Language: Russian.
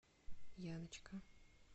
яночка